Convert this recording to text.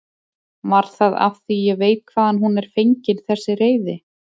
Var það af því ég veit hvaðan hún er fengin þessi reiði?